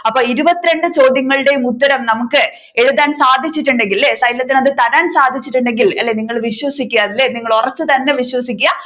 അപ്പൊ ഇരുപത്തി രണ്ടു ചോദ്യങ്ങളുടെയും ഉത്തരം നമ്മുക്ക് എഴുതാൻ സാധിച്ചിട്ടുണ്ടെങ്കിൽ അല്ലെ xylem ഇൻ അത് തരാൻ സാധിച്ചിട്ടുണ്ടെങ്കിൽ അല്ലെ നിങ്ങൾ വിശ്വസിക്കുക അല്ലെ നിങ്ങൾ ഉറച്ചു തന്നെ വിശ്വസിക്കുക